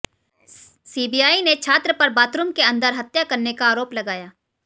CBI ने छात्र पर बाथरूम के अंदर हत्या करने का आरोप लगाया